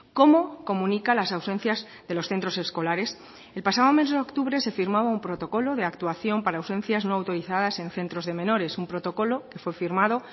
cómo comunica las ausencias de los centros escolares el pasado mes de octubre se firmaba un protocolo de actuación para ausencias no autorizadas en centros de menores un protocolo que fue firmado